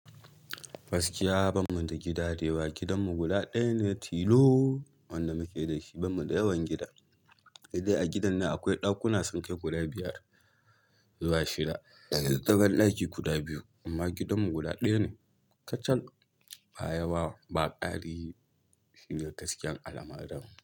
Gaskiya bamu da gida da yawa, gidanmu guda ɗaya ne tilo wanda muke da shi, bamu da yawan gida. Sai dai a gidan nan akwai ɗakuna sunkai guda biyar zuwa shida, da tsakar ɗaki guda biyu amma gidanmu guda ɗaya ne kacal. Ba yawa ba kari shine gaskiyar al'amarin.